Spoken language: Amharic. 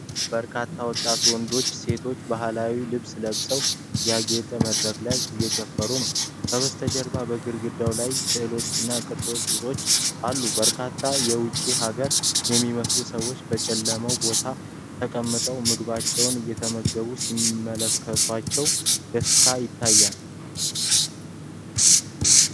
በርካታ ወጣት ወንዶችና ሴቶች ባህላዊ ልብስ ለብሰው፣ ያጌጠ መድረክ ላይ እየጨፈሩ ነው። ከበስተጀርባ በግድግዳው ላይ ስዕሎችና ቅርጻ ቅርጾች አሉ፤ በርካታ የውጭ አገር የሚመስሉ ሰዎች በጨለመው ቦታ ተቀምጠው ምግባቸውን እየተመገቡ ሲመለከቷቸው ደስታ ይታያል።